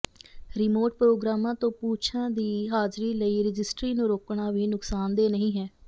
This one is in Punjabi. ਰਿਮੋਟ ਪ੍ਰੋਗਰਾਮਾਂ ਤੋਂ ਪੂਛਾਂ ਦੀ ਹਾਜ਼ਰੀ ਲਈ ਰਜਿਸਟਰੀ ਨੂੰ ਰੋਕਣਾ ਵੀ ਨੁਕਸਾਨਦੇਹ ਨਹੀਂ ਹੈ